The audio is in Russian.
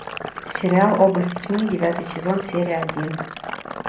сериал области тьмы девятый сезон серия один